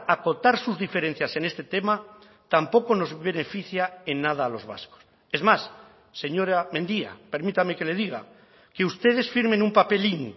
acotar sus diferencias en este tema tampoco nos beneficia en nada a los vascos es más señora mendia permítame que le diga que ustedes firmen un papelín